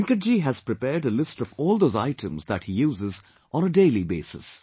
Venkatji has prepared a list of all those items that he uses on a daily basis